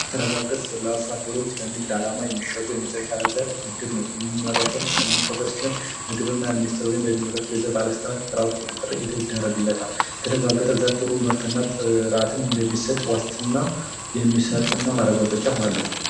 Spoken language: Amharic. የተረጋገጠ ለአርሶ አደሩ የሚሸጡ ዘሮች በግብርና ሚኒስቴር ወይም በሚመለከተው የዘር ባለስልጣናት ጥራቱ ቁጥጥር ይደረግለታል የተረጋገጠ የዘር ምርት ጥሩ እና የተረጋገጠ ምርት እና ማረጋገጫም አለው።